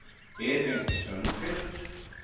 Edvin Sundkvist